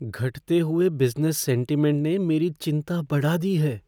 घटते हुए business sentiment ने मेरी चिंता बढ़ा दी है।